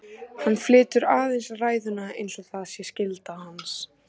Hann flytur aðeins ræðuna einsog það sé skylda hans.